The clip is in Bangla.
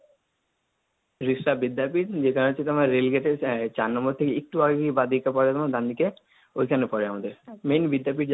রিষড়া বিদ্যাপীঠ, যেটা হচ্ছে তোমার রেলগেটে চার নম্বর থেকে একটু আগিয়ে বা দিকে পরে, ডানদিকে ওইখানে পড়ে আমাদের। main বিদ্যাপীঠ